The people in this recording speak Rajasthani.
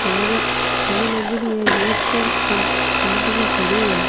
थैली थैली लागेडी है गेट क और आदमी खड़ो है।